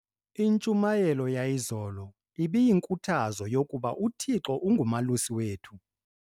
Intshumayelo yayizolo ibiyinkuthazo yokuba uThixo ungumalusi wethu.